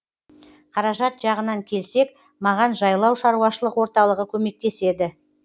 қаражат жағынан келсек маған жайлау шаруашылық орталығы көмектеседі